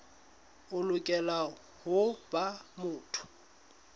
o lokela ho ba motho